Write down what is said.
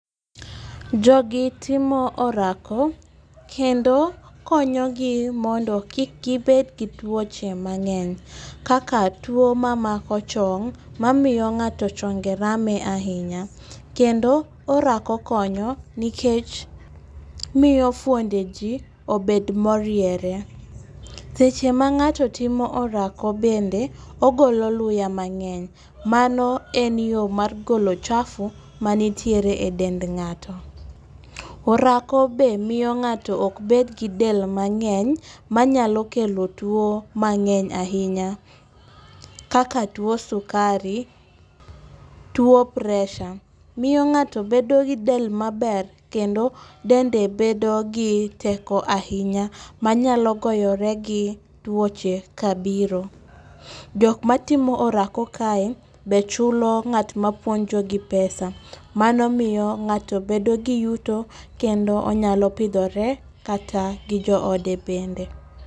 Jogi timo orako, kendo konyogi mondo kik gibed gi tuoche mang'eny kaka tuwo mamako chong mamiyo ng'ato chonge rame ahinya. Kendo orako konyo nikech miyo fwonde ji obed moriere. Seche ma ng'ato timo orako bende, ogolo luya mang'eny. Mano en yo mar golo chafu manitiere e dend ng'ato. Orako be miyo ng'ato ok bed gi del mang'eny manyalo kelo tuwo mang'eny ahinya kaka tuwo sukari, tuwo preesure. Miyo ng'ato bedo gi del maber, kendo dende bedo gi teko ahinya manyalo goyire gi tuoche kabiro. Jok matimo orako kae, be chulo ng'at mapuonjogi pesa, mano miyo ng'ato bedo gi yuto kendo onyalo pidhore kata gi joode bende.